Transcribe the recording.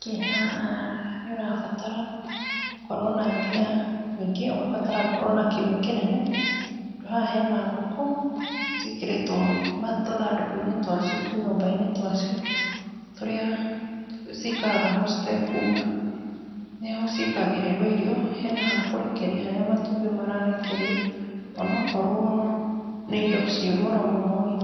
Kĩ haha nĩ ũrabatara ũkorwo na mbia, ningĩ ũgabatara gũkorwo na kiugũ kĩnene , tondũ haha hena ngũkũ ciĩkĩrĩtwo tũthandũkũ-inĩ twa cio, tũnyumba-inĩ twa cio, turĩa cikaraga ho citekuuma, nĩho ciĩkagĩrĩrwo irio , hena ha kũrekeria harĩa matumbĩ mararekeria , ona akorwo nĩ indo ci goro mũnorĩ,